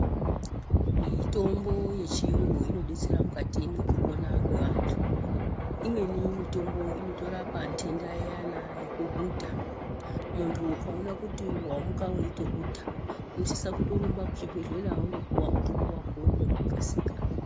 Mitombo yechiungu unodetsere mukati mekupona kwevantu imweni mitombo inotorwa pandenda iyana yokuhudha muntu ukaona kuti wamuka weitohudha inosisa torumba kuchibhehleya wotopuwa mutombo wako nekukasika.